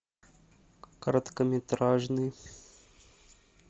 короткометражный